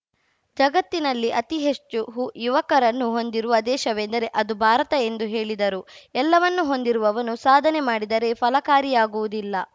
ಜಗತ್ತಿನಲ್ಲಿ ಅತಿ ಹೆಚ್ಚು ಹು ಯುವಕರನ್ನು ಹೊಂದಿರುವ ದೇಶವೆಂದರೆ ಅದು ಭಾರತ ಎಂದು ಹೇಳಿದರು ಎಲ್ಲವನ್ನು ಹೊಂದಿರುವವನು ಸಾಧನೆ ಮಾಡಿದರೆ ಫಲಕಾರಿಯಾಗುವುದಿಲ್ಲ